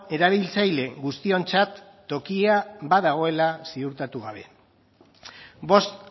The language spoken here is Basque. erabiltzaile guztiontzat tokia badagoela ziurtatu gabe bost